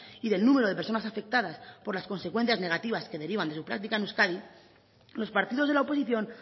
y del número de personas afectadas por las consecuencias negativas que derivan de su práctica en euskadi los partidos de la oposición